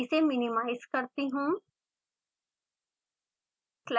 इसे मिनिमाइज़ करती हूँ